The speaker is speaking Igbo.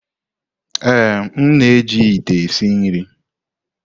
Ee, m na-eji ite esi nri.